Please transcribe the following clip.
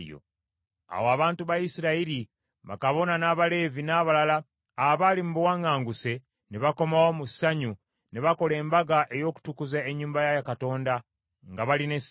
Awo abantu ba Isirayiri, bakabona n’Abaleevi n’abalala abaali mu buwaŋŋanguse ne bakomawo mu ssanyu ne bakola embaga ey’okutukuza ennyumba ya Katonda nga balina essanyu.